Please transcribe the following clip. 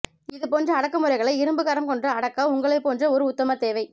இதுபோன்ற அடக்குமுறைகளை இரும்புக்கரம் கொண்டு அடக்க உங்களைப் போன்றஒரு உத்தமர் தேவை